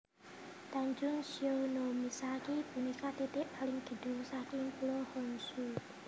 Tanjung Shionomisaki punika titik paling kidul saking Pulo Honshu